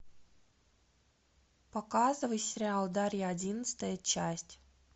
показывай сериал дарья одиннадцатая часть